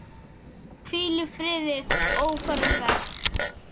Hvíl í friði ófarinn veg.